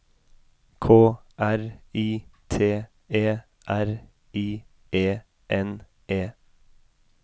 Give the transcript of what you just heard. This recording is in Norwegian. K R I T E R I E N E